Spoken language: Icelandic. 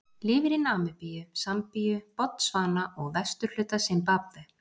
Lifir í Namibíu, Sambíu, Botsvana og vesturhluta Simbabve.